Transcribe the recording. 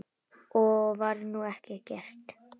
Og nú var ekkert gert.